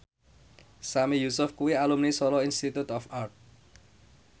Sami Yusuf kuwi alumni Solo Institute of Art